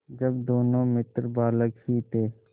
जब दोनों मित्र बालक ही थे